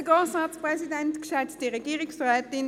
Wir kommen zum Antrag 1b von der SP-JUSO-PSA-Fraktion.